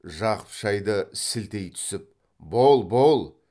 жақып шайды сілтей түсіп бол бол